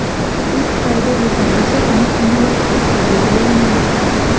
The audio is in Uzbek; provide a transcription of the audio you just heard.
U Xitoyda yetarlicha o‘yin amaliyotiga ega bo‘lolmayapti.